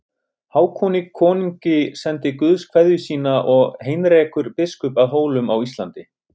Hákoni konungi sendir Guðs kveðju og sína Heinrekur biskup að Hólum á Íslandi.